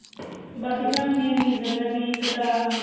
ਤੇ ਬਾਕੀ ਤਾਂ main reason ਆ ਵੀ ਇੱਕ ਤਾਂ